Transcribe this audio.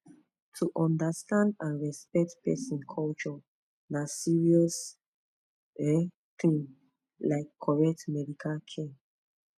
to understand and respect person culture na serious um thing like correct medical care